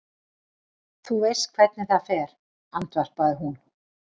Þú veist hvernig það fer, andvarpaði hún.